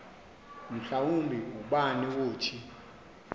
mhlawumbi ubani wothi